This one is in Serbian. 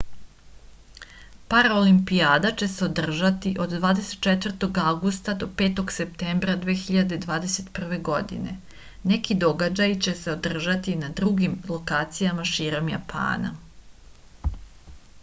paraolimpijada će se održati od 24. avgusta do 5. septembra 2021. godine neki događaji će se održati na drugim lokacijama širom japana